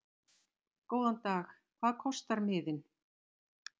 Góðan dag. Hvað kostar miðinn?